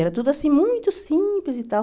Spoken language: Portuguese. Era tudo assim, muito simples e tal.